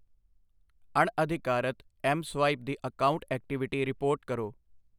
ਅਣਅਧਿਕਾਰਤ mSwipe ਦੀ account activity report ਕਰੋ